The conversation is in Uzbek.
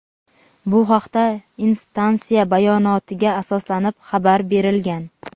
Bu haqda instansiya bayonotiga asoslanib xabar berilgan.